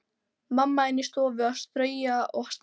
Mamma inni í stofu að strauja og staga.